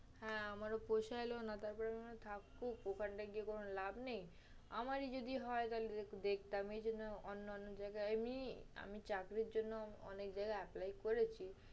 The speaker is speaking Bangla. হ্যাঁ আমারও পোষাইলো না, তারপরে আমি বলি থাকুক ওখানটায় গিয়ে কোনো লাভ নেই। আমারই যদি হয় তাহলে দেখতাম এজন্য অন্যান্য জায়গায় আমি, আমি চাকরির জন্য অনেক জায়গায় apply করেছি।